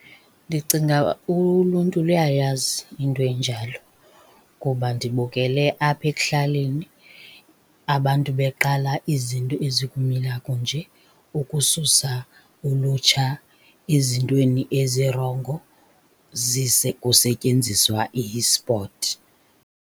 Ndicinga uluntu luyayazi into enjalo ngoba ndibukele apha ekuhlaleni abantu beqala izinto ezikumila kunje ukususa ulutsha ezintweni ezirongo kusetyenziswa i-sport.